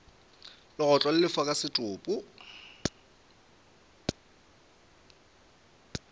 legotlo le lefa ka setopo